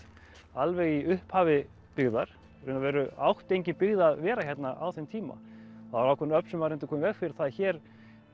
alveg í upphafi byggðar í raun og veru átti engin byggð að vera hérna á þeim tíma það voru ákveðin öfl sem reyndu að koma í veg fyrir það að hér